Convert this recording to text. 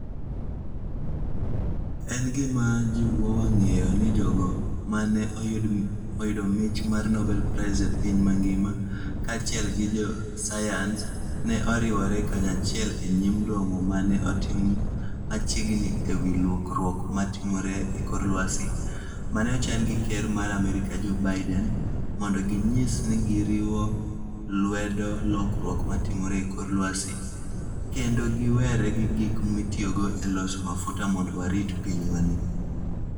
En gima jiwowa ng'eyo ni jogo ma ne oyudo mich mar Nobel Prize e piny mangima, kaachiel gi josayans, ne oriwore kanyachiel e nyim romo ma ne otim machiegni e wi lokruok ma timore e kor lwasi, ma ne ochan gi Ker mar Amerka, Joe Biden, mondo ginyis ni giriwo lwedo lokruok ma timore e kor lwasi, kendo giwere gi gik mitiyogo e loso mafuta mondo warit pinywani.